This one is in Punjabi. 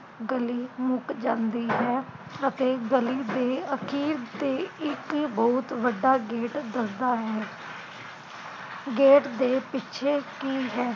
ਗਲੀ ਮੁਕ ਜਾਂਦੀ ਹੈ ਅਤੇ ਗਲੀ ਤੇ ਅਖੀਰ ਤੇ ਇਕ ਬਹੁਤ ਵੱਡਾ ਗੇਟ ਦਸਦਾ ਹੈ ਗੇਟ ਦੇ ਪਿੱਛੇ ਕੀ ਹੈ